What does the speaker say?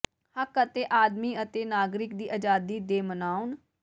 ਹੱਕ ਅਤੇ ਆਦਮੀ ਅਤੇ ਨਾਗਰਿਕ ਦੀ ਆਜ਼ਾਦੀ ਦੇ ਮਨਾਉਣ